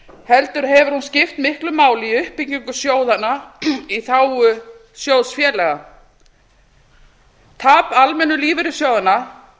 heldur hefur hún skipt miklu máli í uppbyggingu sjóðanna í þágu sjóðfélaga tap almennu lífeyrissjóðanna